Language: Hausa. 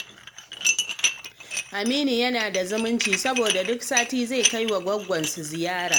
Aminu yana da zumunci, saboda duk sati zai kai wa gwaggwansu ziyara.